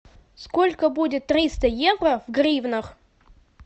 сколько будет триста евро в гривнах